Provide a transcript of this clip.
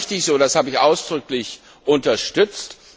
Das war richtig so und das habe ich ausdrücklich unterstützt.